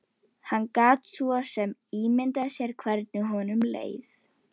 Alltaf án árangurs, líka þegar skipin voru farin.